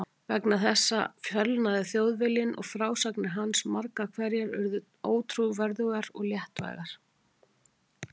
Vegna þessa fölnaði Þjóðviljinn og frásagnir hans margar hverjar urðu ótrúverðugar og léttvægar.